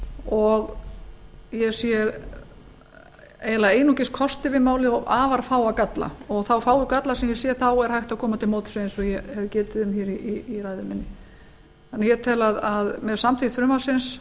og ég sé eiginlega einungis kosti við málið og afar fáa galla og þá fáu galla sem ég sé er hægt að koma til móts við eins og ég hef getið um fyrr í ræðu minni ég tel að með samþykkt frumvarpsins